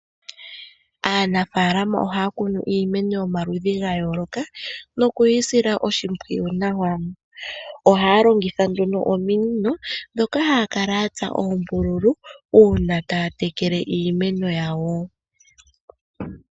Aanafalama ohaya kunu iimaneo yomaludhi ga yooloka noku yi sila oshimpwiyu nawa. Ohaya longitha nduno ominino dhoka haya kala ya tsa oombululu uuna taya tekele iimeno yawo.